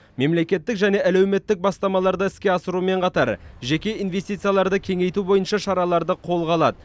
мемлекеттік және әлеуметтік бастамаларды іске асырумен қатар жеке инвестицияларды кеңейту бойынша шараларды қолға алады